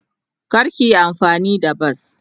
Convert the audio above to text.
Kar ka yi amfani da bas.